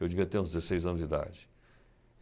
Eu devia ter uns dezesseis anos de idade.